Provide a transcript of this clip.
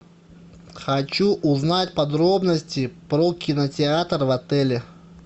хочу узнать подробности про кинотеатр в отеле